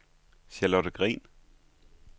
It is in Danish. Charlotte Green